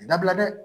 Dabila dɛ